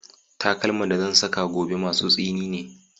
Takalman da zan saka gobe masu tsini ne